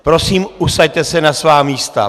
Prosím, usaďte se na svá místa!